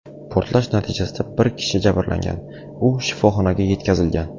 Portlash natijasida bir kishi jabrlangan, u shifoxonaga yetkazilgan.